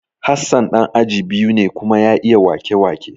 Hassan ɗan aji biyu ne kuma ya iya wake-wake